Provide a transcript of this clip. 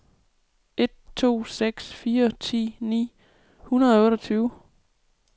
en to seks fire ti ni hundrede og otteogtyve